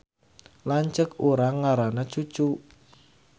Lanceuk urang ngaranna Cucu